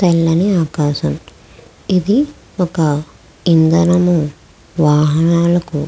తెల్లని ఆకాశం ఇది ఒక ఇంధనం వాహనాలకు--